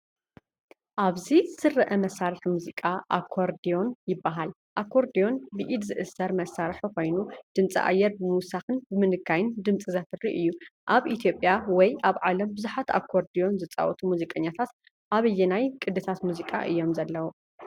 ኣብዚ ዝርአ መሳርሒ ሙዚቃ “ኣኮርድዮን” ይበሃል። ኣኮርድዮን ብኢድ ዝእሰር መሳርሒ ኮይኑ፡ ድምጺ ኣየር ብምውሳኽን ብምንካይን ድምጺ ዘፍሪ እዩ። ኣብ ኢትዮጵያ ወይ ኣብ ዓለም ብዙሓት ኣኮርድዮን ዝጻወቱ ሙዚቀኛታት ኣብ ኣየናይ ቅዲታት ሙዚቃ እዮም ዘለዉ?